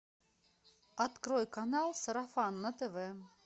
открой канал сарафан на тв